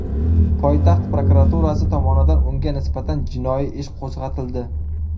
Poytaxt prokuraturasi tomonidan unga nisbatan jinoiy ish qo‘zg‘atildi .